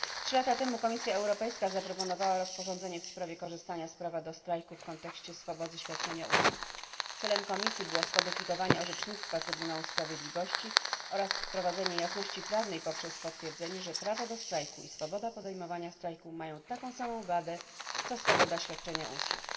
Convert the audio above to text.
Trzy lata temu Komisja Europejska zaproponowała rozporządzenie w sprawie korzystania z prawa do strajków w kontekście swobody świadczenia usług. Celem Komisji było skodyfikowanie orzecznictwa Trybunału Sprawiedliwości oraz wprowadzenie jasności prawa poprzez potwierdzenie, że prawo do strajku i swoboda podejmowania strajku mają taką samą wagę co swoboda świadczenia usług.